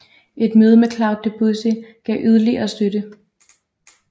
Et møde med Claude Debussy gav yderligere støtte